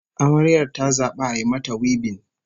Amaryar ta zabi a yi mata wibin